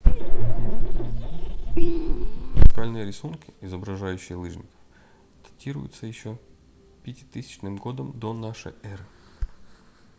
идея катания на лыжах очень стара наскальные рисунки изображающие лыжников датируются еще 5000 г до н э